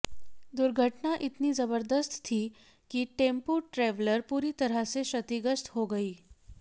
दुर्घटना इतनी जबरदस्त थी कि टेंपू ट्रैवलर पूरी तरह से क्षतिग्रस्त हो गई